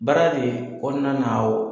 Baara de kɔnɔna na o